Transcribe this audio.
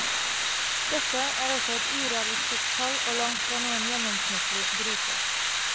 Dette er også et urealistisk tall og langtfra noen gjennomsnittlig bruker.